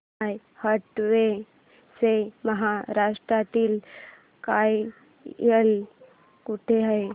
माय Advo चे महाराष्ट्रातील कार्यालय कुठे आहे